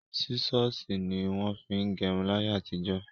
Sísọ̀sì ní wọ́n fin gẹrun láyé àtijọ́.